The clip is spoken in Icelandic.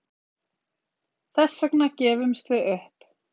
Þess vegna gefumst við upp